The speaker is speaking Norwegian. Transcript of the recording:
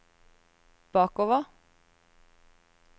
bakover